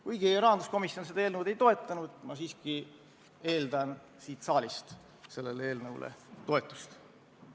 Kuigi rahanduskomisjon seda eelnõu ei toetanud, ma siiski eeldan, et siit saalist tuleb sellele eelnõule toetust.